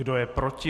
Kdo je proti?